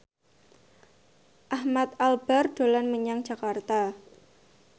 Ahmad Albar dolan menyang Jakarta